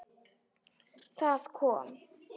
Það kom